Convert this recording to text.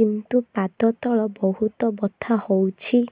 କିନ୍ତୁ ପାଦ ତଳ ବହୁତ ବଥା ହଉଛି